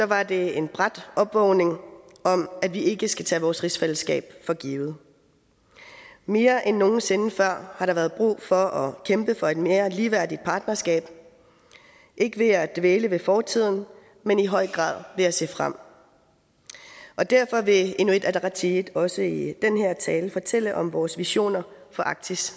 var det en brat opvågning om at vi ikke skal tage vores rigsfællesskab for givet mere end nogen sinde før har der været brug for at kæmpe for et mere ligeværdigt partnerskab ikke ved at dvæle ved fortiden men i høj grad ved at se frem og derfor vil inuit ataqatigiit også i den her tale fortælle om vores visioner for arktis